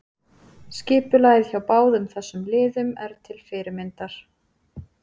Skipulagið hjá báðum þessum liðum er til fyrirmyndar.